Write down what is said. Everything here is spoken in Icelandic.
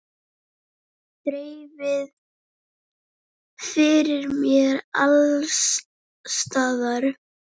Þreifað fyrir mér alls staðar.